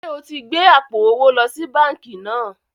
Ṣé o ti gbé àpò owó lọ sí báńkì náà?